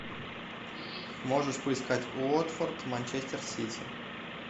можешь поискать уотфорд манчестер сити